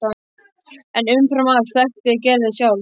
En umfram allt þekkti ég Gerði sjálf.